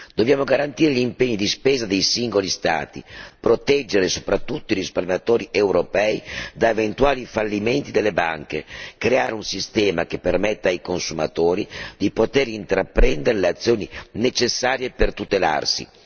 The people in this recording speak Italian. Dobbiamo garantire gli impegni di spesa dei singoli Stati, proteggere soprattutto i risparmiatori europei da eventuali fallimenti delle banche e creare un sistema che permetta ai consumatori di poter intraprendere le azioni necessarie per tutelarsi.